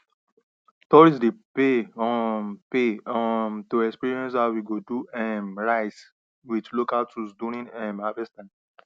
tourists dey pay um pay um to experience how we dey do um rice with local tools during um harvest time